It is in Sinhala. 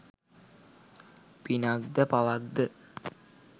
පිනක් ද පවක් ද?